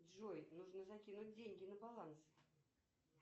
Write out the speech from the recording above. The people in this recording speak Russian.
джой нужно закинуть деньги на баланс